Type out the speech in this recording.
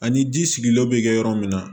Ani ji sigilenw bɛ kɛ yɔrɔ min na